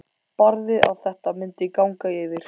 Barði að þetta myndi ganga yfir.